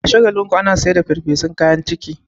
A Shagalinku ana sayar da farfesun kayan ciki.